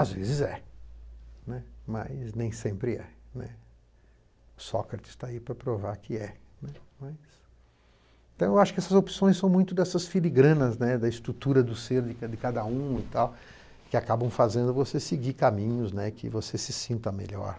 Às vezes é, né, mas nem sempre é, né. Sócrates está aí para provar que é, né, mais. Então, eu acho que essas opções são muito dessas filigranas, né, da estrutura do ser de cada um e tal, que acabam fazendo você seguir caminhos, né, que você se sinta melhor.